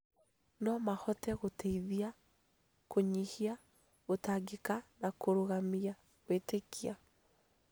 No mahote gũteithia kũnyihia gũtangĩka na kũrũgamia kwĩĩtĩkia